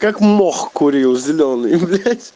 как мох курил зелёный блять